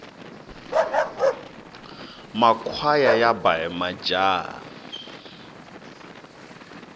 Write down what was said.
makhwaya yaba hi majaha